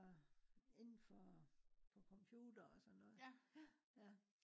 nå indenfor på computere og sådan noget? ja